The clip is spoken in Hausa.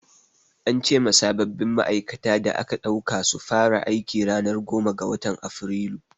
An ce ma sabbin ma'aikata da aka ɗauka su fara aiki ranar goma ga watan Afrilu.